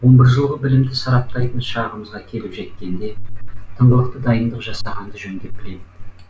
он бір жылғы білімді сараптайтын шағымызға келіп жеткенде тыңғылықты дайындық жасағанды жөн деп білем